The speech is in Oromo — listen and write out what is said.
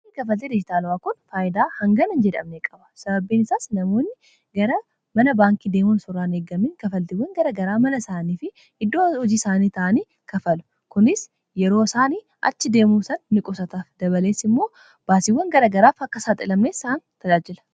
kafaltii dijitaalawwaa kun faayidaa hangana in jedhamne qaba sababbiin isaas namoonni gara mana baankii deemoon soraan eeggamiin kafaltiwwan garagaraa mala isaanii fi hiddoo hojii isaanii ta'anii kafalu kunis yeroo isaanii achi deemuusan miqusata dabaleessi immoo baasiiwwan garagaraaf akka saa xilamnes isaan tajaajila